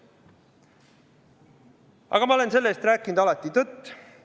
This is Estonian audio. Aga ma olen selle-eest rääkinud alati tõtt.